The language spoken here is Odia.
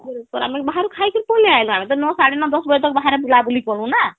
ଆମେ ବାହାରୁ ଖାଇ କିରି ପଳେଇ ଆଇଲୁ , ଆମେ ତ ନଅ ସାଡେ ନଅ ଦଶ ବଜେ ତକ ବାହାରେ ବୁଲା ବୁଲି କଲୁ ନା